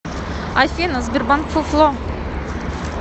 афина сбербанк фуфло